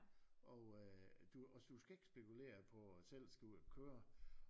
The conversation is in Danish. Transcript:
Og øh du og du skal ikke spekulere på selv skulle ud og køre